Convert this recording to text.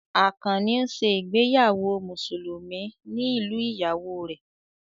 Àkànnì ń ṣe ìgbéyàwó Mùsùlùmí ní ìlú ìyàwó rẹ̀